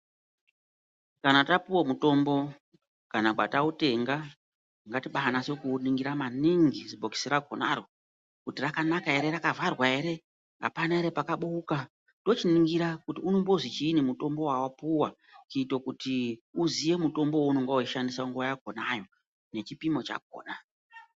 Kana tapuwe mutombo kana kwatautenga ngatibaanase kuuningira maningi zibhokisi rakonaro kuti rakanaka here, rakavharwa here, hapana ere pakabooka. Tochiningira kuti unombozi chiini mutombo wawapuwa kuito kuti uziye mutombo wounonga wechishandisa nguva yakonayo, nechipimo chakona.